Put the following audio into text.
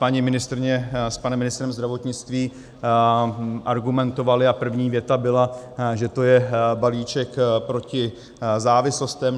Paní ministryně s panem ministrem zdravotnictví argumentovali - a první věta byla, že to je balíček proti závislostem.